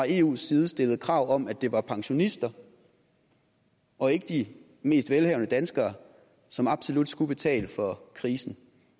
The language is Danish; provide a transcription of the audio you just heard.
eus side stillede krav om at det var pensionister og ikke de mest velhavende danskere som absolut skulle betale for krisen